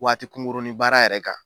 Waatikunkurunin baara yɛrɛ kan